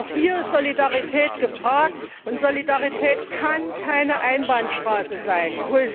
Auch hier ist Solidarität gefragt, und Solidarität kann keine Einbahnstraße sein.